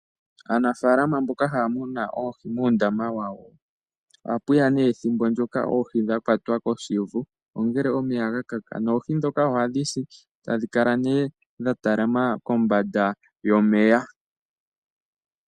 Aanafalama mboka haya munu oohi muundama wawo, oha pu ya ne ethimbo ndjoka oohi dha kwatwa koshivu ngele omeya ga kaka noohi ndhoka oha dhi si tadhi kala ne dha talama kombanda yomeya.